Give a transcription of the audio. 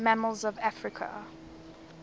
mammals of africa